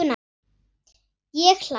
Ég hlæ.